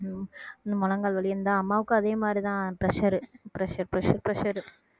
உம் இந்த முழங்கால் வலி அம்மாவுக்கும் அதே மாதிரிதான் pressure pressure pressure